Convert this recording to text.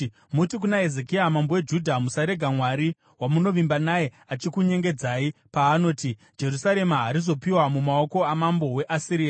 “Muti kuna Hezekia mambo weJudha: Musarega Mwari wamunovimba naye achikunyengedzai paanoti, ‘Jerusarema harizopiwa mumaoko amambo weAsiria.’